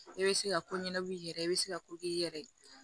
E bɛ se ka ko ɲɛnabɔ i yɛrɛ bɛ se ka ko k'i yɛrɛ ye